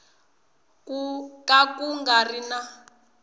ka ku nga ri na